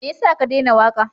Me ya sa ka daina waƙa?